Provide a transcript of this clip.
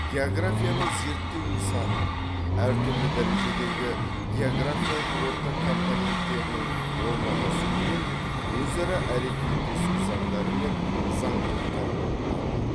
географияның зерттеу нысаны әр түрлі дәрежедегі географиялық орта компоненттерінің орналасуы мен өзара әрекеттесу заңдары мен заңдылықтары болып табылады